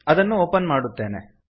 ಅದನ್ನು ಒಪನ್ ಮಾಡುತ್ತೇನೆ